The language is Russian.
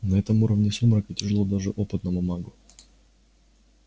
на этом уровне сумрака тяжело даже опытному магу